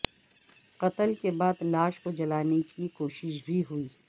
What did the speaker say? قتل کے بعد لاش کو جلانے کی کوشش بھی ہوئی